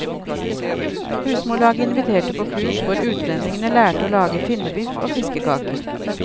Husmorlaget inviterte på kurs hvor utlendingene lærte å lage finnebiff og fiskekaker.